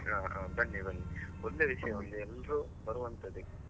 ಹ ಹಾ ಬನ್ನಿ ಬನ್ನಿ ಒಳ್ಳೆ ವಿಶ್ಯ ಒಂದ್ ಎಲ್ರು ಬರುವಂಥದ್ದೇ.